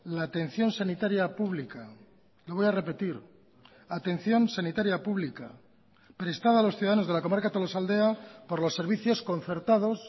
la atención sanitaria pública lo voy a repetir atención sanitaria pública prestada a los ciudadanos de la comarca tolosaldea por los servicios concertados